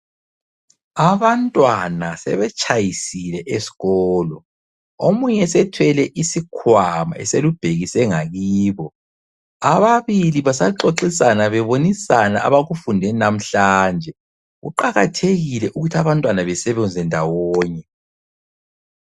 Abantwana sebetshayisile esikolo. Omunye sethwele isikhwama eselubhekise ngakibo. Ababili basabonisana bexoxisana abakufunde namhlanje. Kuqakathekile ukuthi abantwana besebenze ndawonye.